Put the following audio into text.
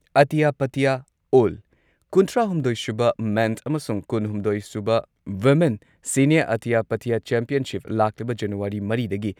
ꯑꯇ꯭ꯌ ꯄꯇ꯭ꯌ ꯑꯣꯜ ꯀꯨꯟꯊ꯭ꯔꯥꯍꯨꯝꯗꯣꯏ ꯁꯨꯕ ꯃꯦꯟ ꯑꯃꯁꯨꯡ ꯀꯨꯟꯍꯨꯝꯗꯣꯏ ꯁꯨꯕ women senior Atya Patya championship, ꯂꯥꯛꯂꯤꯕ ꯖꯅꯨꯋꯥꯔꯤ ꯃꯔꯤꯗꯒꯤ